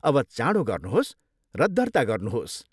अब चाँडो गर्नुहोस् र दर्ता गर्नुहोस्।